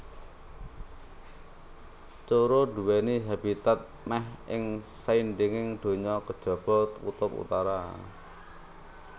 Coro nduwèni habitat mèh ing saindenging donya kejaba kutub utara